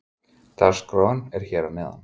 Dagskráin er hér að neðan.